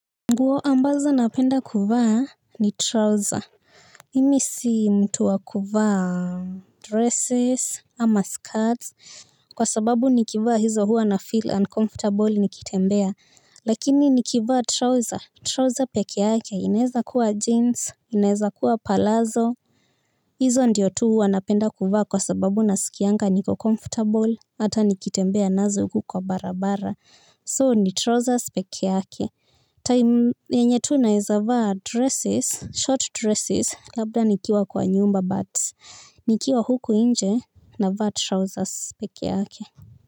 Nguo ambazo napenda kuvaa ni trouser Mimi si mtu wa kuvaa dresses ama skirts. Kwa sababu nikivaa hizo hua nafeel uncomfortable nikitembea. Lakini nikivaa trouser trouser peke yake inaeza kuwa jeans inaeza kuwa palazo. Hizo ndiyo tu huwa napenda kuvaa kwa sababu naskianga niko comfortable. Hata nikitembea nazo huku kwa barabara So ni trousers peke yake venye tu naeza vaa dresses, short dresses, labda nikiwa kwa nyumba, but nikiwa huku inje navaa trousers peke yake.